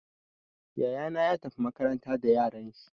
Yaya na ya tafi makaranta da yaran shi.